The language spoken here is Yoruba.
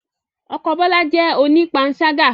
Ọkọ Bola jẹ́ onipansaga